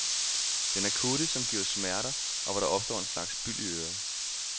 Den akutte, som giver smerter, og hvor der opstår en slags byld i øret.